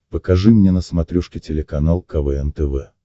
покажи мне на смотрешке телеканал квн тв